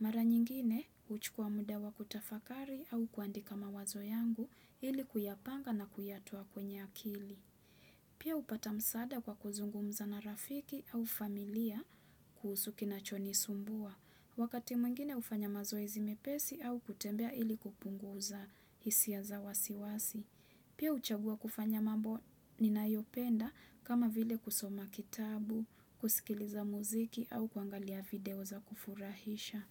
Mara nyingine, huchukua muda wa kutafakari au kuandika mawazo yangu ili kuyapanga na kuyatoa kwenye akili. Pia hupata msaada kwa kuzungumza na rafiki au familia kuhusu kinachonisumbua. Wakati mwingine hufanya mazoezi mepesi au kutembea ili kupunguza hisia za wasiwasi. Pia huchagua kufanya mambo ninayopenda kama vile kusoma kitabu, kusikiliza muziki au kuangalia video za kufurahisha.